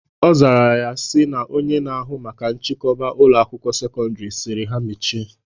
Ọ zara sị na Onye na-ahụ maka nchikoba Ụlọ akwụkwọ sekọndrị sịrị ha mechie